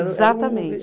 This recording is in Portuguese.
Exatamente.